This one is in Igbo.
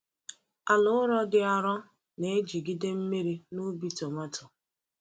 Ala ụrọ dị arọ na-ejigide mmiri n’ubi [s] tomato.